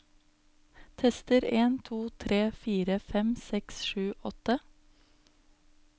Tester en to tre fire fem seks sju åtte